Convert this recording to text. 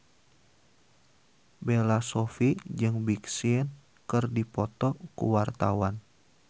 Bella Shofie jeung Big Sean keur dipoto ku wartawan